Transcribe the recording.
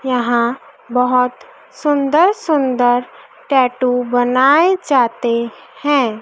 यहां बहोत सुंदर सुंदर टैटू बनाए जाते हैं।